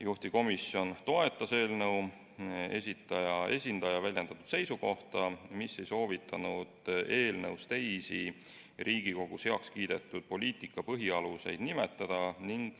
Juhtivkomisjon toetas eelnõu esitaja esindaja väljendatud seisukohta, mis ei soovitanud eelnõus teisi Riigikogus heaks kiidetud poliitika põhialuseid nimetada.